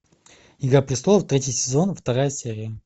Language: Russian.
игра престолов третий сезон вторая серия